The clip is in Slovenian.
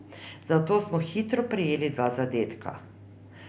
Zato smo hitro prejeli dva zadetka.